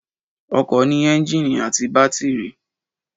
Ọkọ̀ ní ẹ́ńjìnì àti bátírì